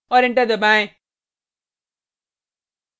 और enter दबाएँ